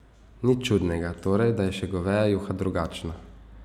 Nič čudnega, torej, da je še goveja juha drugačna.